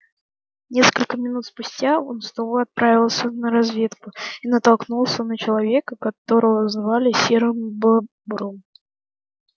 несколько минут спустя он снова отправился на разведку и натолкнулся на человека которого звали серым бобром